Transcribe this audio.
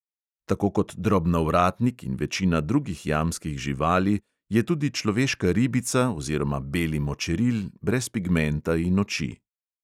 Tako kot drobnovratnik in večina drugih jamskih živali je tudi človeška ribica oziroma beli močeril brez pigmenta in oči.